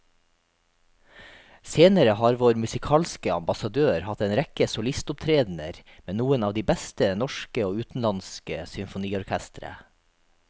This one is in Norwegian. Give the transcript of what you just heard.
Senere har vår musikalske ambassadør hatt en rekke solistopptredener med noen av de beste norske og utenlandske symfoniorkestre.